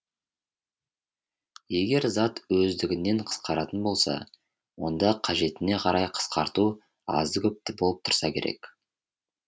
егер зат өздігінен қысқаратын болса онда қажетіне қарай қысқарту азды көпті болып тұрса керек